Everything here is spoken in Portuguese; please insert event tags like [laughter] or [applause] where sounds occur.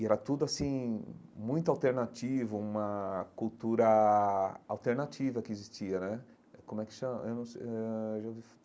E era tudo assim muito alternativo, uma cultura alternativa que existia né eh como é que chama eu não ãh já ouvi. [unintelligible]